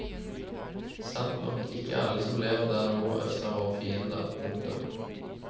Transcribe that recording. Sant nok at ikke alle som lever der nord og øst er våre fiender. punktum